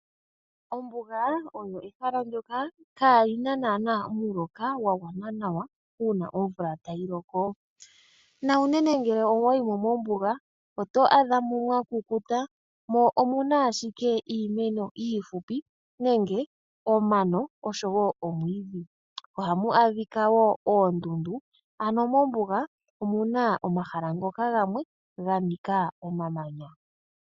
Ombuga oyo ehala ndyoka kaa li na omuloka gwana nawa, uuna omvula ta yi loko, na unene ngele owa yi mo mombuga, oto adha mo mwa kukuta, mo omu na ashike iimeno iifupi nenge omano , osho wo omwiudhi. Oha mu adhika wo oondund.u. Ano monbuga omu na omahala ngoka gamwe ga nika omamanya.